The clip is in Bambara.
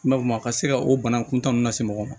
I m'a fɔ a ka se ka o bana kuntaa ninnu lase mɔgɔ ma